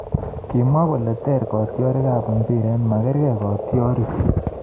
Kimwa kole ter katyarik ab mbiret, magargei katyarik